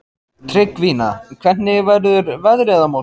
Tryggvína, hvernig verður veðrið á morgun?